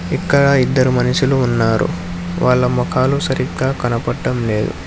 ఇక్కడ ఇద్దరు మనుషులు ఉన్నారు వాళ్ళ ముఖాలు సరిగ్గా కనబడటం లేదు.